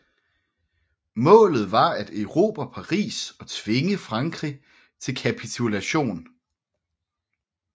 Målet var at erobre Paris og tvinge Frankrig til kapitulation